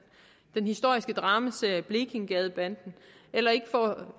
den historiske dramaserie blekingegadebanden